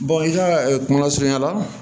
i ka kuma lasurunya la